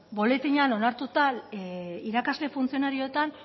buletinean onartuta irakasle funtzionarioetan